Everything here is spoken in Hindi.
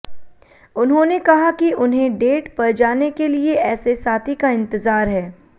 उन्होंने कहा कि उन्हें डेट पर जाने के लिए ऐसे साथी का इंतजार है